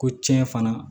Ko tiɲɛ fana